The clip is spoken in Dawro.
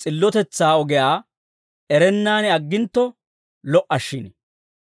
s'illotetsaa ogiyaa erennaan aggintto lo"a shin.